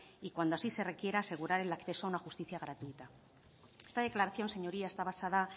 y cuando así se requiera asegurar el acceso a una justicia gratuita esta declaración señoría está basada